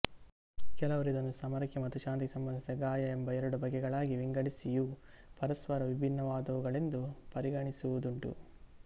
ಕೆಲವರು ಇದನ್ನು ಸಮರಕ್ಕೆ ಮತ್ತು ಶಾಂತಿಗೆ ಸಂಬಂಧಿಸಿದ ಗಾಯ ಎಂಬ ಎರಡು ಬಗೆಗಳಾಗಿ ವಿಂಗಡಿಸಿ ಇವು ಪರಸ್ಪರ ವಿಭಿನ್ನವಾದವುಗಳೆಂದು ಪರಿಗಣಿಸುವುದುಂಟು